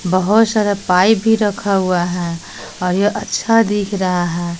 बहुत सारा पाइप भी रखा हुआ है और यह अच्छा दिख रहा है।